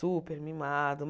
Super mimado.